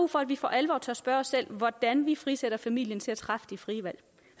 for at vi for alvor tør spørge os selv hvordan vi frisætter familien til at træffe de frie valg